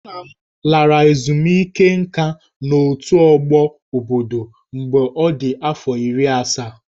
Nna m lara ezumike nká n'otù ọgbọ obodo mgbe ọ dị afọ iri asaa